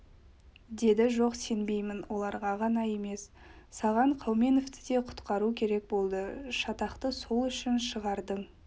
деді жоқ сенбеймін олар ғана емес саған қауменовті де құтқару керек болды шатақты сол үшін шығардың